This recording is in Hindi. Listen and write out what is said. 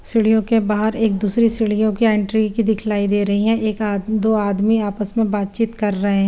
सिड़ियों के बाहर एक दूसरी सीडीयोंकी एंट्री की दिखलाइ दे रही है एक आदमी दो आदमी आपस में बातचीत कर रहे--